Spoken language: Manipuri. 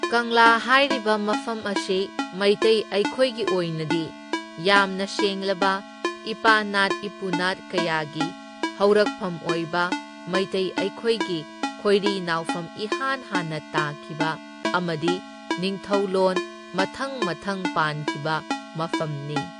ꯀꯪꯂꯥ ꯍꯥꯏꯔꯤꯕ ꯃꯐꯝ ꯑꯁꯤ ꯃꯩꯇꯩ ꯑꯩꯈꯣꯏꯒꯤ ꯑꯣꯏꯅꯗꯤ ꯌꯥꯝꯅ ꯁꯦꯡꯂꯕ ꯏꯄꯥꯅꯥꯠ ꯏꯄꯨꯅꯥꯠ ꯀꯌꯥꯒꯤ ꯍꯧꯔꯛꯐꯝ ꯑꯣꯏꯕ ꯃꯩꯇꯩ ꯑꯩꯈꯣꯏꯒꯤ ꯈꯣꯏꯔꯤ ꯅꯥꯎꯐꯝ ꯏꯍꯥꯟ ꯍꯥꯟꯅ ꯇꯥꯈꯤꯕ ꯑꯃꯗꯤ ꯅꯤꯡꯊꯣꯂꯣꯟ ꯃꯊꯪ ꯃꯊꯪ ꯄꯥꯟꯈꯤꯕ ꯃꯐꯝꯅꯤ꯫